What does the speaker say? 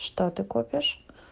что ты копишь